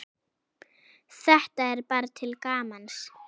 Þetta er bara til gamans.